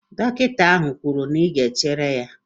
Dọkịta ahụ kwuru na ị ga-echere ya?